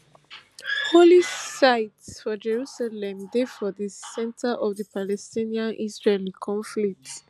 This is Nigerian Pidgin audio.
holy sites for jerusalem dey for di centre of di palestinianisraeli conflict